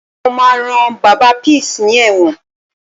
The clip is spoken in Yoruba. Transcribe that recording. Mo máa rán Bàbá Peace ní ẹ̀wọ̀n